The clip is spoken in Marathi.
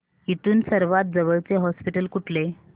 इथून सर्वांत जवळचे हॉस्पिटल कुठले